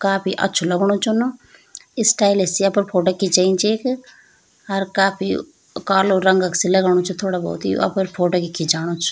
काफी अछू लगणु च न स्टाइल से अपडी फोटो खिचयीं च येक अर काफी कालू रंगा क सी लगणु च थोडा बहौत यो अपड फोटो खिचाणू च।